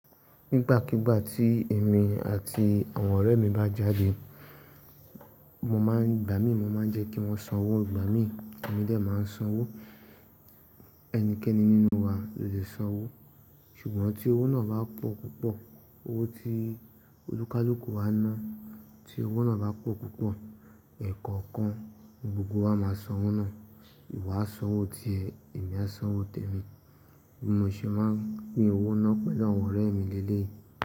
Nígbàkigbà tí èmi àti àwọn ọ̀rẹ́ mi bá jáde, mo máa ń, igbà mí mọ́ máa jẹ́ kí wọ́n sanwó, igbà mí, èmi dè máa ń sanwó. Ẹnikẹ́ni nínú wa lè sanwó. Ṣùgbọ́n tí owó náà bá pọ̀ púpọ̀, owó tí olúkúlùkù wa ná, tí owó náà bá pọ̀ púpọ̀, ẹ̀kankan gbogbo wa máa sanwó náà. Ìwọ á sanwó ti ẹ, èmi á sanwó tẹ mi. Mo ṣe máa pín owó náà pẹ̀lú àwọn ọ̀rẹ́ mi lẹ́lẹ́ yi.